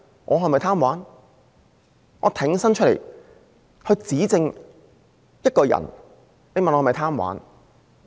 我挺身出來指證一個人，你問我是否貪玩？